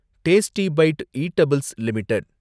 tasty bite edibles limited